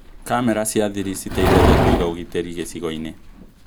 Kamera cia thiri citeithagia kũiga ũgitĩri gīcigo-inĩ